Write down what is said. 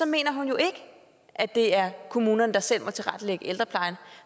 mener hun jo ikke at det er kommunerne der selv må tilrettelægge ældreplejen